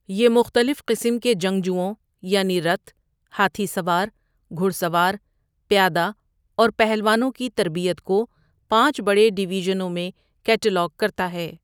یہ مختلف قسم کے جنگجوؤں، یعنی رتھ، ہاتھی سوار، گھڑ سوار، پیادہ، اور پہلوانوں کی تربیت کو پانچ بڑے ڈویژنوں میں کیٹلاگ کرتا ہے۔